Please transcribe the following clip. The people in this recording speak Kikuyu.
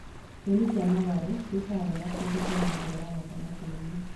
Nyeni cia matharũ ciĩkaga wega kũndũ kwĩna mbura ya gatagati-inĩ